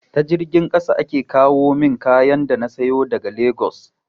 Ta jirgin ƙasa ake kawomin kayan da na sayo daga legas